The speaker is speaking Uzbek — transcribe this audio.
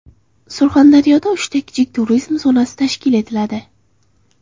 Surxondaryoda uchta kichik turizm zonasi tashkil etiladi.